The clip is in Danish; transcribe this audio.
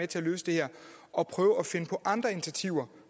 til at løse det her og prøve at finde på andre initiativer